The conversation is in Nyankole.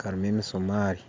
karimu emisuumari